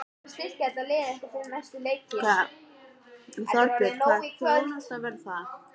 Þorbjörn: Hvaða þjónusta verður það?